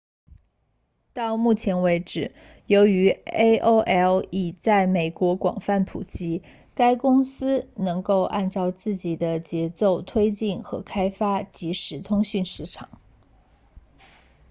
到目前为止由于 aol 已在美国广泛普及该公司能够按照自己的节奏推进和开发即时通讯市场